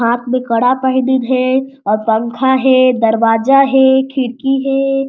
हाथ में कड़ा पहनीन हे और पंखा हे दरवाजा हे खिड़की हे।